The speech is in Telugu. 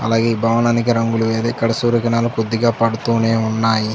అలాగే భవనానికి రంగులు వేసి ఇక్కడ సూర్యకిరణాలు కొద్దిగా పడుతూనే ఉన్నాయి.